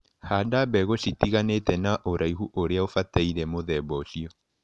Handa mbegũ citiganĩte na ũraihu ũria ũbataire mũthemba ũcio.